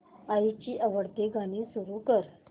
आईची आवडती गाणी सुरू कर